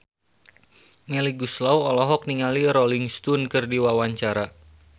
Melly Goeslaw olohok ningali Rolling Stone keur diwawancara